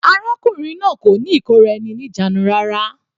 Arákùnrin náà kò ní ìkóra-eni-ní-ìjánu rárá.